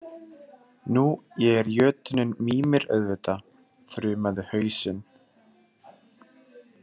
Nú ég er jötunninn Mímir auðvitað, þrumaði hausinn.